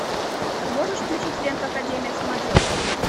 можешь включить ленту академия самоделкина